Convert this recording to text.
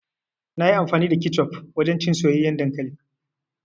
Nayi amfani da kecof wajen cin soyayyen dankali.